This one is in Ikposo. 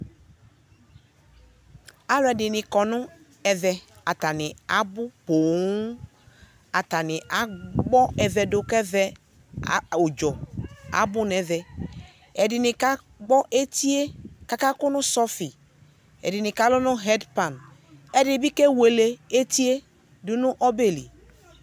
Alʋɛdɩnɩ kɔ nʋ ɛvɛ , atanɩ abʋ pooŋ; atanɩ agbɔ ɛvɛ dʋ k'ɛvɛ, a ʋdzɔ abʋ n'ɛvɛ Ɛdɩnɩ kagbɔ etie kaka kʋ nʋ sɔfɩ; ɛdɩnɩ kalʋ nʋ hɛdpan Ɛdɩnɩ bɩ kewele etie dʋ nʋ ɔbɛ li